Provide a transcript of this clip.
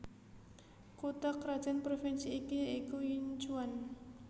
Kutha krajan Provinsi iki ya iku Yinchuan